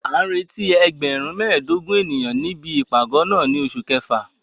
A ń retí ẹgbẹ̀rún mẹ́ẹ̀ẹ́dógún ènìyàn níbi ìpàgọ́ náà ní oṣù kẹfà.